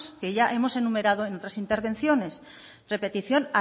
que ya hemos enumerado en otras intervenciones repetición